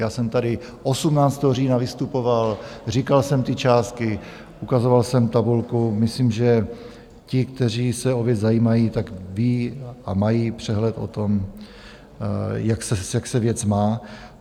Já jsem tady 18. října vystupoval, říkal jsem ty částky, ukazoval jsem tabulku - myslím, že ti, kteří se o věc zajímají, tak vědí a mají přehled o tom, jak se věc má.